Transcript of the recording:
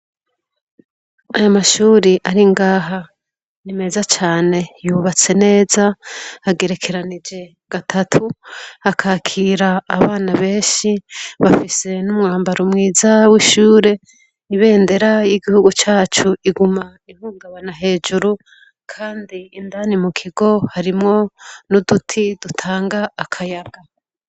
Aya mashure ari ngaha ni meza cane yubatse neza agerekeranije gatatu akakira abana benshi bafise n'umwambaro mwiza w'ishure ibendera y'igihugu cacu iguma ihungabana hejuru kandi indani mu kigo harimwo n'uduti dutanga akayaga.